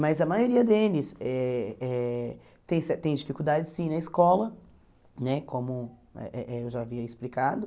Mas a maioria deles eh eh tem ce tem dificuldade sim na escola, né como eh eh eu já havia explicado.